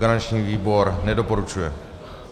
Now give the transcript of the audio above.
Garanční výbor nedoporučuje.